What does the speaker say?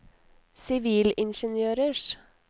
sivilingeniørers